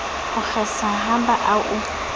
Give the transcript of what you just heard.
o kgesa ha ba o